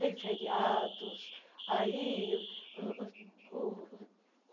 tem feriados. aí o